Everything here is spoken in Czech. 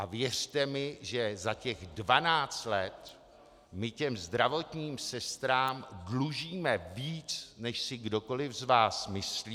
A věřte mi, že za těch 12 let my těm zdravotním sestrám dlužíme víc, než si kdokoli z vás myslí.